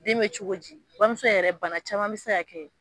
Den be cogo di ? Bamuso yɛrɛ bana caman be se ka kɛ